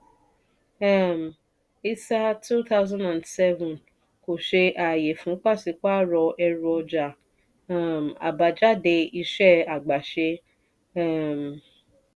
um isa two thousand seven kò ṣe ààyè fún pàṣípààrọ̀ ẹrù ọjà um àbájáde iṣẹ́ àgbàṣe. um